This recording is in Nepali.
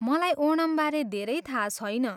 मलाई ओणमबारे धेरै थाहा छैन ।